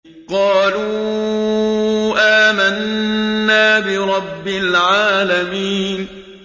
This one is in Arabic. قَالُوا آمَنَّا بِرَبِّ الْعَالَمِينَ